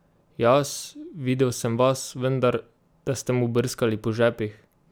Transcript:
Jaz: "Videl sem vas vendar, da ste mu brskali po žepih.